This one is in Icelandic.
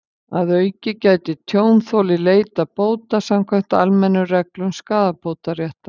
Að auki gæti tjónþoli leitað bóta samkvæmt almennum reglum skaðabótaréttar.